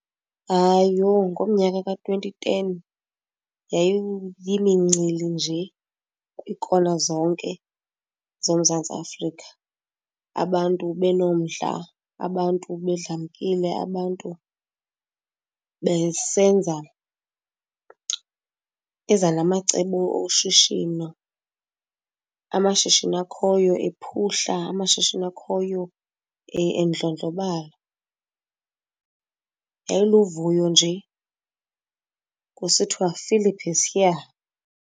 Hayi, yho, ngomnyaka ka-twenty ten yayiyimincili nje kwiikona zonke zoMzantsi Afrika, abantu benomdla, abantu bedlamkile. Abantu besenza, beza namacebo oshishino, amashishini akhoyo ephuhla, amashishini akhoyo endlondlobala. Yayiluvuyo nje kusithiwa Phillip is here.